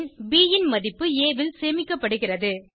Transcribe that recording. பின் ப் ன் மதிப்பு ஆ ல் சேமிக்கப்படுகிறது